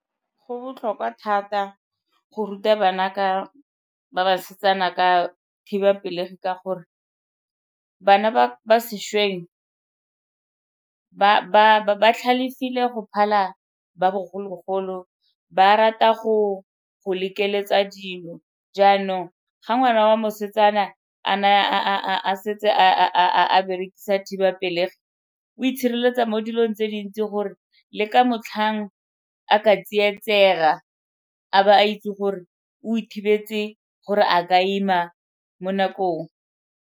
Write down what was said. Go botlhokwa thata go ruta ba basetsana ka thibapelegi ka gore bana ba ba sešweng ba tlhalefile go phala ba bogologolo ba rata go go lekeletsa dilo. Jaanong ga ngwana wa mosetsana a naya a setse a berekisa thibapelegi o itshireletsa tsa mo dilong tse dintsi gore le ka motlhang a ka tsietsega a ba a itse gore o ithibetse gore a ka ima mo nakong.